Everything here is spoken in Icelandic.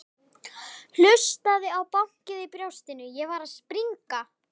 Hlustaði á bankið í brjóstinu, ég var að springa.